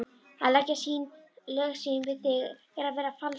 Að leggja lög sín við þig er að vera falskur.